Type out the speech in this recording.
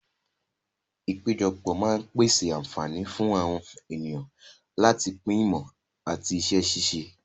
Ìpéjọpọ̀ máa ń pèsè àǹfààní fún àwọn ènìyàn láti pín ìmọ̀ àti iṣẹ́ ṣíṣe.